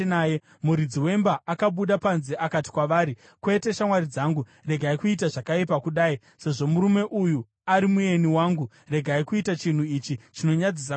Muridzi wemba akabuda panze akati kwavari, “Kwete, shamwari dzangu, regai kuita zvakaipa kudai. Sezvo murume uyu ari mueni wangu, regai kuita chinhu ichi chinonyadzisa kudai.